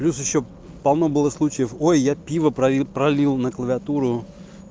плюс ещё полно было случаев ой я пиво пролил на клавиатуру